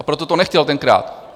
A proto to nechtěl tenkrát.